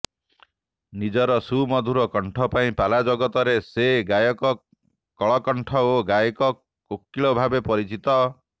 ନିଜର ସୁମଧୁର କଣ୍ଠ ପାଇଁ ପାଲା ଜଗତରେ ସେ ଗାୟକ କଳକଣ୍ଠ ଓ ଗାୟକ କୋକିଳ ଭାବେ ପରିଚିତ